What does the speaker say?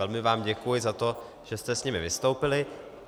Velmi vám děkuji za to, že jste s nimi vystoupili.